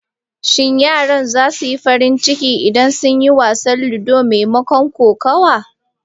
Shin yaran za su yi farin ciki idan sun yi wasan ludo maimakon kokawa?